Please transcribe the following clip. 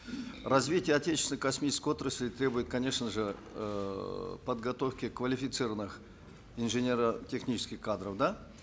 развитие отечественной космической отрасли требует конечно же эээ подготовки квалифицированных инженерно технических кадров да